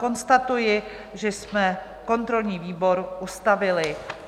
Konstatuji, že jsme kontrolní výbor ustavili.